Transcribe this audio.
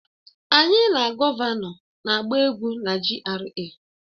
Anyị na gọvanọ na-agba egwú na GRA